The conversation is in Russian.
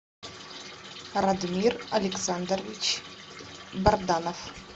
радмир александрович барданов